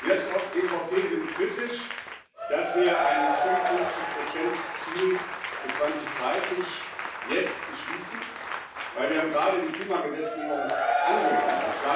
Wir als EVP sind kritisch, dass wir ein 55 Ziel für 2030 jetzt beschließen, denn wir haben gerade die Klimagesetzgebung angenommen.